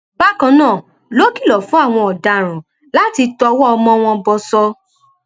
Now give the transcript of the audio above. bákan náà ló kìlọ fún àwọn ọdaràn láti tọwọ ọmọ wọn bọsọ